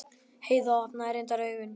Heiða opnaði reyndar augun.